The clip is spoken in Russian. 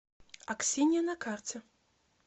аксинья на карте